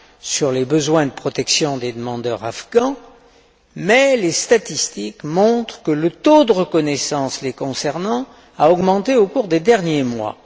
sur les besoins de protection des demandeurs afghans, mais les statistiques montrent que le taux de reconnaissance les concernant a augmenté au cours des derniers mois.